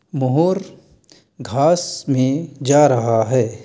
मोर घास में जा रहा है।